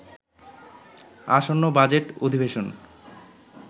আসন্ন বাজেট অধিবেশন